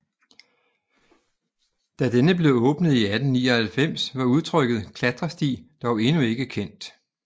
Da denne blev åbnet i 1899 var udtrykket klatresti dog endnu ikke kendt